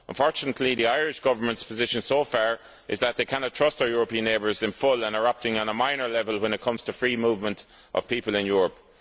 Unfortunately, the Irish Government's position so far is that it cannot trust its European neighbours in full and it is operating on a minor level when it comes to free movement of people in Europe.